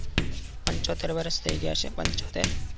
પંચોતેર વર્ષ થયી ગયા છે પંચોતેર